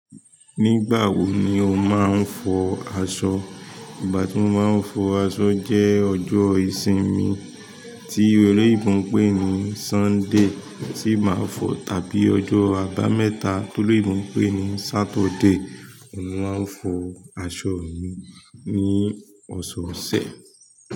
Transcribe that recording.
Nígbà wo ni o máa ń fọ aṣọ? Ìgbà tí mo máa ń fọ aṣọ jẹ ọjọ ìsinmi tí olóyìnbó pè ní sunday tí ma fo tàbí ọjọ àbámẹ́ta tí olóyìnbó pè ní saturday. Mo máa ń fọ aṣọ mi ní ọ̀sọ̀ọ̀sẹ̀.